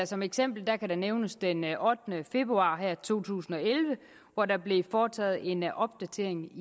som eksempel kan der nævnes den ottende februar to tusind og elleve hvor der blev foretaget en opdatering